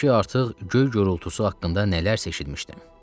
Halbuki artıq göy gurultusu haqqında nələrsə eşitmişdim.